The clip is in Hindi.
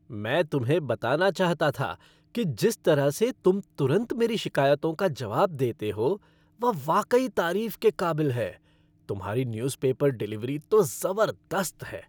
मैं तुम्हें बताना चाहता था कि जिस तरह से तुम तुरंत मेरी शिकायतों का जवाब देते हो वह वाकई तारीफ के काबिल है। तुम्हारी न्यूज़पेपर डिलीवरी तो ज़बरदस्त है।